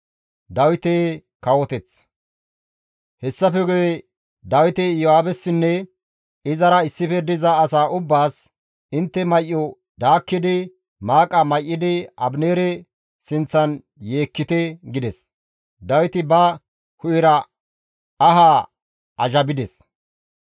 Hessafe guye Dawiti Iyo7aabessinne izara issife diza asa ubbaas, «Intte may7o daakkidi, maaqa may7idi Abineere sinththan yeekkite» gides. Dawiti ba hu7era ahaa azhabides.